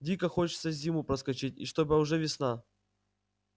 дико хочется зиму проскочить и чтобы уже весна